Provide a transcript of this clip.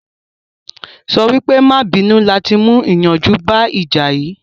Sọ wípé "má à bínú" láti mú ìyanjú bá ìjà yìí